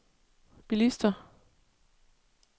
bilister